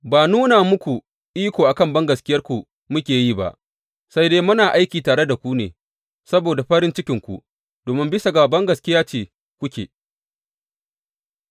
Ba nuna muku iko a kan bangaskiyarku muke yi ba, sai dai muna aiki tare da ku ne saboda farin cikinku, domin bisa ga bangaskiya ce kuke tsaye da ƙarfi.